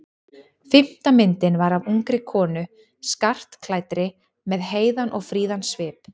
Fimmta myndin var af ungri konu skartklæddri með heiðan og fríðan svip.